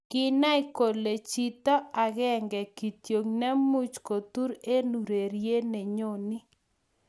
kinai kole chito akenge kityo ne much kotur eng ururie ne nyonii